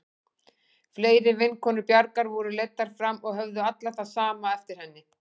Fleiri vinkonur Bjargar voru leiddar fram og höfðu allar það sama eftir henni.